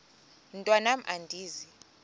mntwan am andizi